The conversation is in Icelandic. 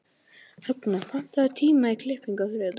Högna, pantaðu tíma í klippingu á þriðjudaginn.